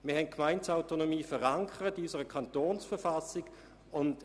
Wir haben die Gemeindeautonomie in unserer Kantonsverfassung verankert.